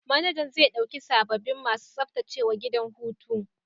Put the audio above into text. Manajan zai dauki sababbin masu tsaftacewa gidan hutu.